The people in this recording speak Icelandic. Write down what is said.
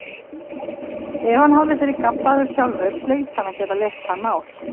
Ef hann hafði verið gabbaður sjálfur hlaut hann að geta leyst það mál.